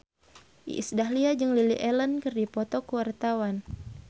Iis Dahlia jeung Lily Allen keur dipoto ku wartawan